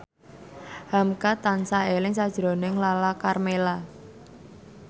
hamka tansah eling sakjroning Lala Karmela